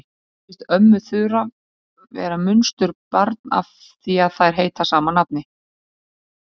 Kannski finnst ömmu Þura vera munsturbarn af því að þær heita sama nafni.